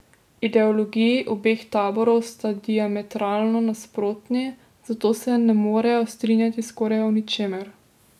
Ideologiji obeh taborov sta diametralno nasprotni, zato se ne morejo strinjati skoraj o ničemer.